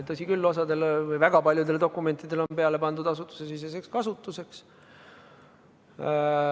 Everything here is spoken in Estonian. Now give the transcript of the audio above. Tõsi küll, osale, väga paljudele dokumentidele on peale pandud "Asutusesiseseks kasutuseks".